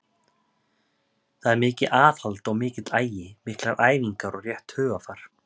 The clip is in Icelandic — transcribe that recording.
Þar er mikið aðhald og mikill agi, miklar æfingar og rétt hugarfar.